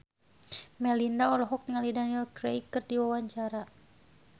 Melinda olohok ningali Daniel Craig keur diwawancara